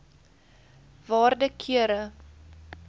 waarde kere